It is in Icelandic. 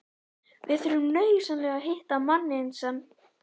VIÐ ÞURFUM NAUÐSYNLEGA AÐ HITTA MANNINN SEM